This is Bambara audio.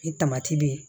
Ni tamati be yen